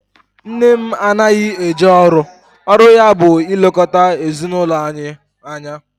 Nne m anaghị eje ọrụ, ọrụ ya bụ ilekọta ezinaụlọ anyị anya